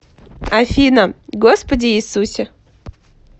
афина господи иисусе